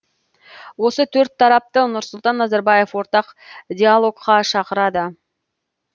осы төрт тарапты нұрсұлтан назарбаев ортақ диалогқа шақырады